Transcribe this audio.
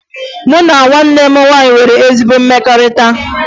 Mụ na nwanne m nwaanyị nwere ezi mmekọrịta